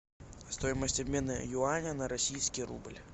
стоимость обмена юаня на российский рубль